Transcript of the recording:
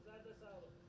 Sizə də can sağlığı.